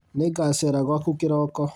Nĩngacera gwaku kĩroko